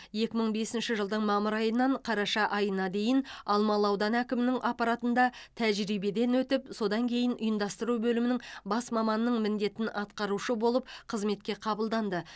екі мың бесінші жылдың мамыр айынан қараша айына дейін алмалы ауданы әкімінің аппаратында тәжірибеден өтіп содан кейін ұйымдастыру бөлімінің бас маманының міндетін атқарушы болып қызметке қабылданды